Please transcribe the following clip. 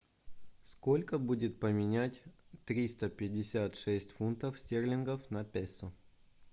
сколько будет поменять триста пятьдесят шесть фунтов стерлингов на песо